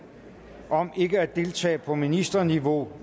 om ikke at deltage på ministerniveau